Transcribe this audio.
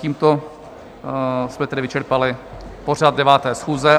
Tímto jsme tedy vyčerpali pořad 9. schůze.